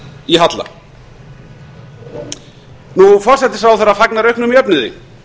í halla hæstvirtur forsætisráðherra fagnar auknum jöfnuði